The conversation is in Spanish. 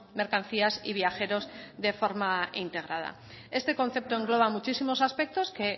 mercancías y viajeros de forma integrada este concepto engloba muchísimos aspectos que